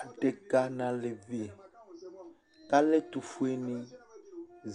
Áɖeka nu aleʋi, ku alɛ ɛtufue ni,